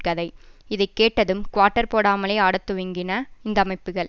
கதை இதை கேட்டதும் குவார்ட்டர் போடாமலே ஆடத்துவங்கின இந்த அமைப்புகள்